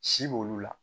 Si b'olu la